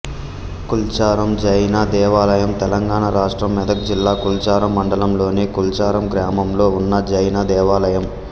కుల్చారం జైన దేవాలయం తెలంగాణ రాష్ట్రం మెదక్ జిల్లా కుల్చారం మండలంలోని కుల్చారం గ్రామంలో ఉన్న జైన దేవాలయం